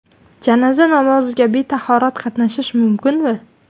Janoza namoziga betahorat qatnashish mumkinmi?.